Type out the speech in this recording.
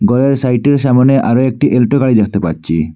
ঘরের সাইটে ও সামোনে আরও একটি এল্টো গাড়ি দেখতে পাচ্ছি।